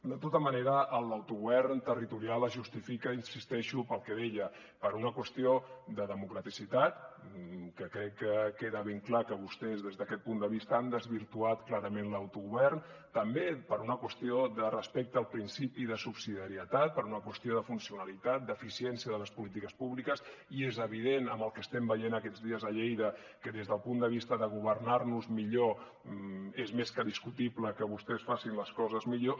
de tota manera l’autogovern territorial es justifica hi insisteixo pel que deia per una qüestió de democraticitat que crec que queda ben clar que vostès des d’aquest punt de vista han desvirtuat clarament l’autogovern també per una qüestió de respecte al principi de subsidiarietat per una qüestió de funcionalitat d’eficiència de les polítiques públiques i és evident amb el que estem veient aquests dies a lleida que des del punt de vista de governar nos millor és més que discutible que vostès facin les coses millor